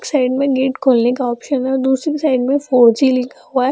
Side में gate खोलने का आप्शन है और दुसरी साइड में फोर जी लिखा हुआ है।